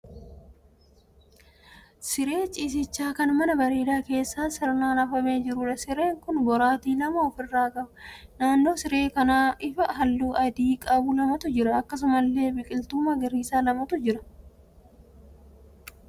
Siree ciisichaa kan mana bareedaa keessa sirnaan afamee jiruudha. Sireen kun boraatii lama ofi irraa qaba. Naannoo siree kanaa ifaa halluu adii qabu lamatu jira. Akkasumallee biqiltuun magariisaa lamatu jira.